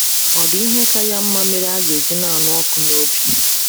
Ọ̀ dị ihe ka ya mma mere a ga - eji na - anụ ọkụ n’obi?